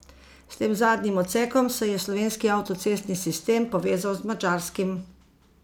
S tem zadnjim odsekom se je slovenski avtocestni sistem povezal z madžarskim.